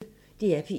DR P1